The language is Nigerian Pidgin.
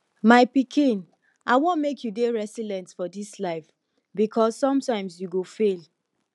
my pikin i wan make you dey resilient for dis life because sometimes you go fail